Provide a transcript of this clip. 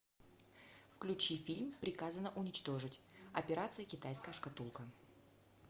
включи фильм приказано уничтожить операция китайская шкатулка